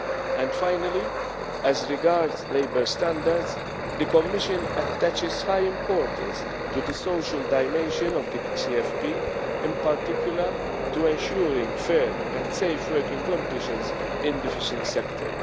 actions. And finally, as regards labour standards, the Commission attaches high importance to the social dimension of the CFP, in particular to ensuring fair and safe working conditions in the fishing